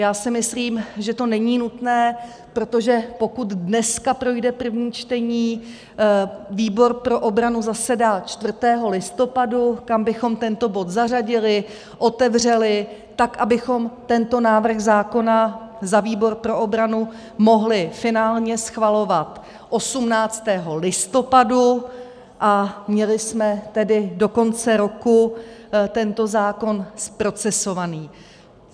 Já si myslím, že to není nutné, protože pokud dneska projde první čtení, výbor pro obranu zasedá 4. listopadu, kam bychom tento bod zařadili, otevřeli tak, abychom tento návrh zákona za výbor pro obranu mohli finálně schvalovat 18. listopadu a měli jsme tedy do konce roku tento zákon zprocesovaný.